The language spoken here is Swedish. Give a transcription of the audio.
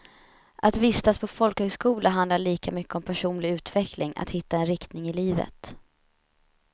Att vistas på folkhögskola handlar lika mycket om personlig utveckling, att hitta en riktning i livet.